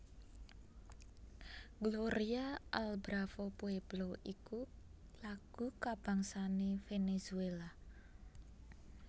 Gloria al bravo pueblo iku lagu kabangsané Venezuela